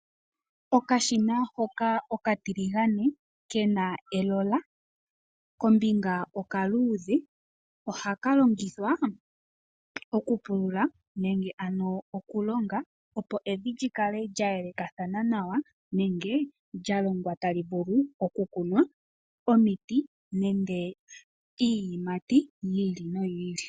Okashina hoka oka tiligane ,kena elola kombinga okaluudhe ohaka longithwa oku pulula nenge ano oku longa opo evi lyi kale lya yelekathana nawa nenge lya longwa tali vulu oku kunwa omiti nenge iiyimati yi ili noyi ili.